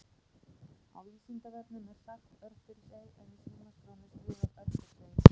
Á Vísindavefnum er sagt Örfirisey en í símaskránni er skrifað Örfirsey.